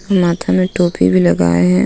माथे में टोपी भी लगाए हैं.